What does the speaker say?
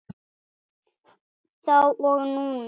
Þá og núna.